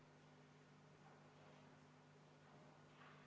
Palun tuua hääletamiskastid saali.